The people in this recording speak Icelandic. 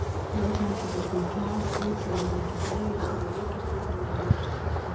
Láta þetta bara svona fjara út, væri það ekki þægilegt fyrir ríkisstjórnina í ljósi andstöðunnar?